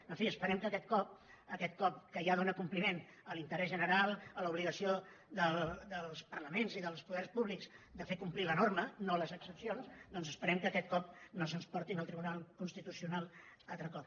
en fi espe·rem que aquest cop que ja dóna compliment a l’inte·rès general a l’obligació dels parlaments i dels poders públics de fer complir la norma no les exempcions doncs esperem que aquest cop no se’ns portin al tri·bunal constitucional un altre cop